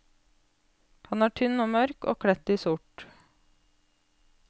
Han er tynn og mørk og kledt i sort.